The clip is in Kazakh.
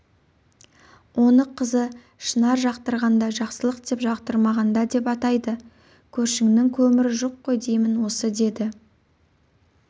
оны қызы шынар жақтырғанда жақсылық деп жақтырмағанда деп атайды көршіңнің көмірі жоқ қой деймін осыдеді